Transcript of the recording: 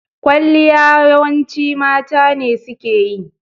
Ƙwalliya yawanci mata ne suke yi